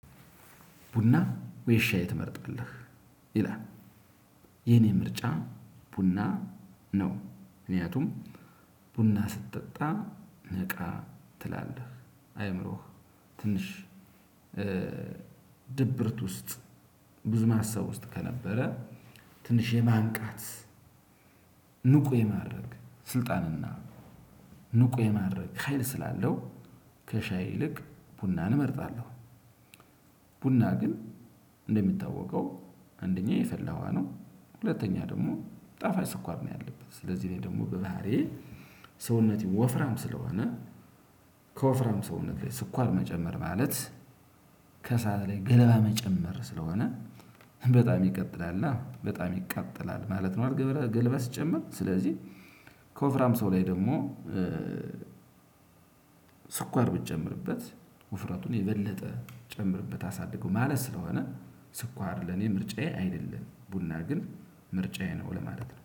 ቡና ወይ ሻይ ትመርጣለህ? ይላል። የኔ ምርጫ ቡና ነው። ምክንያቱም ቡና ስትጠጣ ነቃ ትላለህ አይምሮህ ትንሽ። ድብርት ውስጥ ብዙ ሀሳብ ውስጥ ከነበረ። ትንሽ የማንቃት ንቁ የማድረግ ስልጣንና ንቁ የማድረግ ሀይል ስላለው ከሻይ ይልቅ ቡናን እመርጣለሁ። ቡና ግን እንደሚታወቀው አንደኛ የፈላዋ ነው ሁለተኛ ደግሞ ጣፋጭ ስኳር ነው ያለበት። ስለዚህ እኔ ደግሞ በባህሪዬ ሰውነቴ ወፍራም ስለሆነ። ከወፍራም ሰውነት ላይ ስኳር መጨመር ማለት ከእሳት ላይ ገለባ መጨመር ስለሆነ በጣም ይቀጥላልና በጣም ይቃጠላል ማለት ነው። ገለባ ስጨምር ስለዚህ ከወፍራም ሰው ላይ ደግሞ። ስኳር ብትጨምርበት ውፍረቱን የበለጠ ጨምርበት አሳድገው ማለት ስለሆነ ስኳር ለኔ ምርጫዬ አይደለም። ቡና ግን ምርጫዬ ነው ለማለት ነው